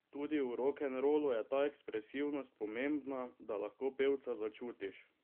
Tudi v rokenrolu je ta ekspresivnost pomembna, da lahko pevca začutiš.